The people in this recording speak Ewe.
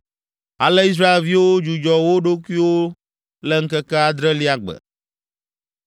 Ale Israelviwo dzudzɔ wo ɖokuiwo le ŋkeke adrelia gbe.